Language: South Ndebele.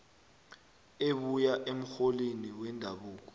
ebuya emrholini wendabuko